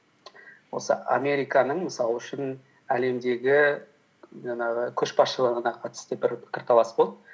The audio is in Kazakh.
осы американың мысал үшін әлемдегі жаңағы көшбасшыларына қатысты бір пікірталас болды